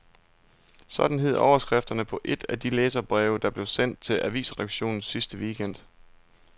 Sådan hed overskriften på et af de læserbreve, der blev sendt til avisredaktionerne sidste weekend.